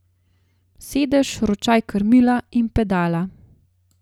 Sedež, ročaj krmila in pedala.